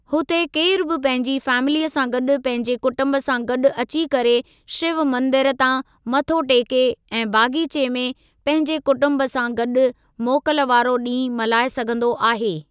हुते केरु बि पंहिंजी फैमिलीअ सा गॾु पंहिंजे कुटुम्ब सां गॾु अची करे शिव मंदिर तां मथो टेके ऐं बग़ीचे में पंहिंजे कुटुम्ब सा गॾु मोकल वारो ॾींहुं मल्हाए सघिन्दो आहे।